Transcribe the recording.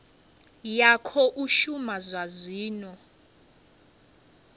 ya khou shuma zwa zwino